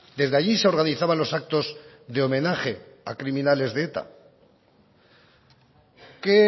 desde allí se organizaban los actos de homenaje a criminales de eta qué